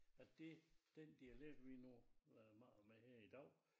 At det den dialekt vi nu har med her i dag